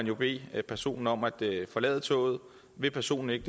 jo bede personen om at forlade toget hvis personen ikke